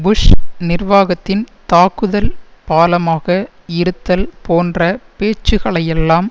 push நிர்வாகத்தின் தாக்குதல் பாலமாக இருத்தல் போன்ற பேச்சுக்களையெல்லாம்